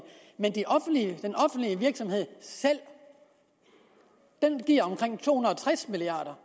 virksomhed selv giver omkring to hundrede og tres milliard